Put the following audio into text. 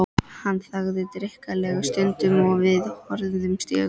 Hann þagði drykklanga stund og við horfðumst í augu.